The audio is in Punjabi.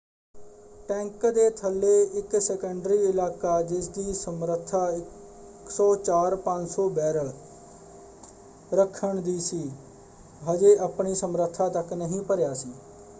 ਟੈਂਕ ਦੇ ਥੱਲੇ ਇੱਕ ਸੈਕੰਡਰੀ ਇਲਾਕਾ ਜਿਸਦੀ ਸਮਰੱਥਾ 104,500 ਬੈਰਲ ਰੱਖਣ ਦੀ ਸੀ ਹਜੇ ਆਪਣੀ ਸਮਰੱਥਾ ਤੱਕ ਨਹੀਂ ਭਰਿਆ ਸੀ।